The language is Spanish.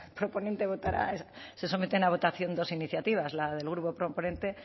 proponente votará se someten a votación dos iniciativas la del grupo proponente